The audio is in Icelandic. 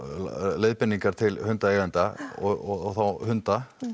leiðbeiningar til hundaeiganda og þá hunda